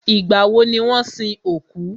Ìgbà wọ ni wọ́n sin òkú?